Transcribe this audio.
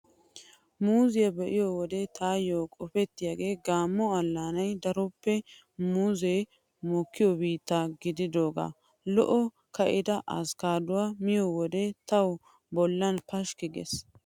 Muuzziyaa be'iyo wode taayyo qopettiyabay Gamo allaanay daroppe muuzzee mokkiyoy biitta gididoogaa. Lo'o ka'ida askkaaduwaa miyo wode tawu bollan pashkki gees.